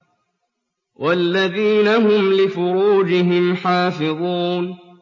وَالَّذِينَ هُمْ لِفُرُوجِهِمْ حَافِظُونَ